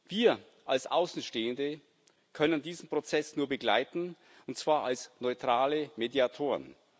Wir als Außenstehende können diesen Prozess nur begleiten, und zwar als neutrale Mediatoren.